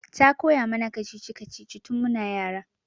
Ta koya mana kacici-kacici tin mun yara